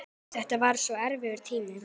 Þetta var svo erfiður tími.